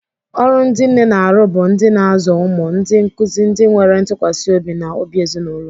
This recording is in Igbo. Ọrụ ndị nne na-arụ bụ ndị na-azụ ụmụ, ndị nkuzi, ndị nwere ntụkwasị obi, na obi ezinụlọ.